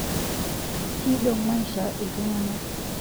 kidong maisha iltunganak